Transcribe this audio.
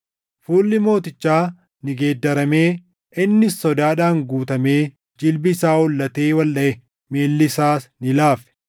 Fuulli mootichaa ni geeddaramee; innis sodaadhaan guutamee jilbii isaa hollatee waldhaʼe; miilli isaas ni laafe.